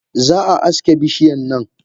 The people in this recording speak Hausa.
Zaa aske bishiyan nan.